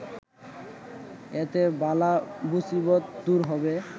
এতে বালা মুসিবত দূর হবে